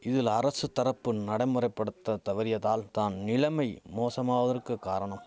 இதில் அரசு தரப்பு நடைமுறைபடுத்த தவறியதால் தான் நிலமை மோசமாவதற்கு காரணம்